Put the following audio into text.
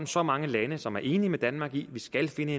så mange lande som er enige med danmark i at vi skal finde